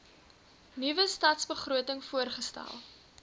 nuwe stadsbegroting voorgestel